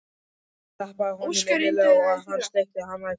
Hún klappaði honum innilega og hann sleikti hana í framan.